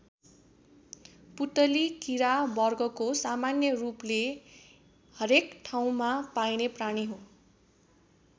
पुतली कीरा वर्गको सामान्य रूपले हरेक ठाउँमा पाइने प्राणी हो।